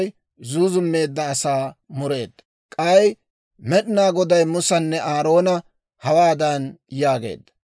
K'ay Med'inaa Goday Musanne Aaroona hawaadan yaageedda;